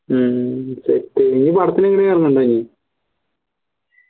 ഹും set ഇനി പടത്തിന് കേറുന്നുണ്ടോ